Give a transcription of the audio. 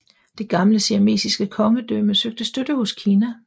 Det gamle siamesiske kongedømme søgte støtte hos Kina